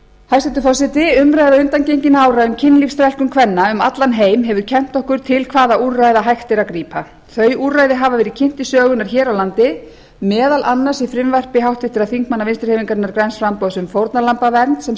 hæstvirtur forseti umræða undangenginna ára um kynlífsþrælkun kvenna um allan heim hefur kennt okkur til hvaða úrræða hægt er að grípa þau úrræði hafa verið kynnt til sögunnar hér á landi meðal annars í frumvarpi þingmanna vinstri hreyfingarinnar græns framboðs um fórnarlambavernd sem